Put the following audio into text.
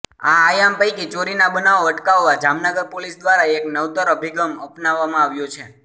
આ આયામ પૈકી ચોરીના બનાવો અટકાવવા જામનગર પોલીસ દ્વારા એક નવતર અભિગમ અપનાવવામાં આવ્યો છે